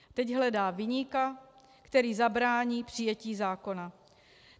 Teď hledá viníka, který zabrání přijetí zákona.